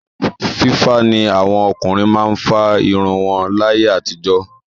Fífá ni àwọn ọkùnrin máa ń fárun wọn láyé àtijọ́.